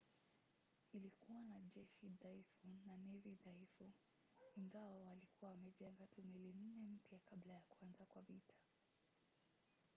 ilikuwa na jeshi dhaifu na nevi dhaifu ingawa walikuwa wamejenga tu meli nne mpya kabla ya kuanza kwa vita